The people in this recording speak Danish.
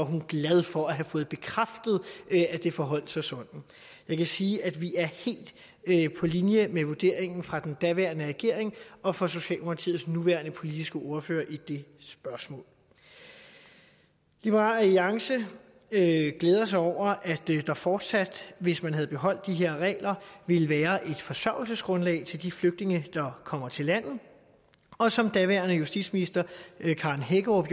glad for at have fået bekræftet at det forholdt sig sådan jeg kan sige at vi er helt på linje med vurderingen fra den daværende regering og fra socialdemokratiets nuværende politiske ordfører i det spørgsmål liberal alliance glæder sig over at der fortsat hvis man havde beholdt de her regler ville være et forsørgelsesgrundlag til de flygtninge der kommer til landet og som daværende justitsminister karen hækkerup